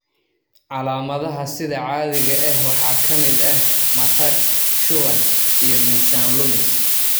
Calaamadaha sida caadiga ah waxaa ka mid ah matag, shuban, iyo miisaan lumis.